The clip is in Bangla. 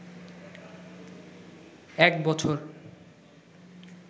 এক বছর